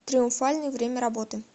триумфальный время работы